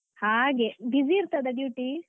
ಹಾಗೆ, busy ಇರ್ತದ duty ?